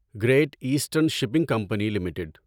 great eastern shipping company limited